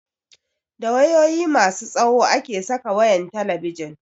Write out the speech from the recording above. Da wayoyi masu tsawo ake saka wayan talabijin